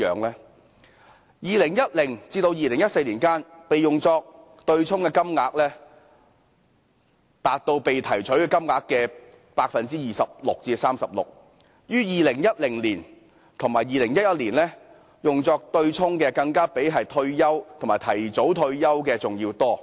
在2010年至2014年間，用作對沖的金額佔被提取金額的 26% 至 36%， 而在2010年及2011年，用作對沖的金額更比退休及提早退休的金額還要多。